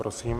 Prosím.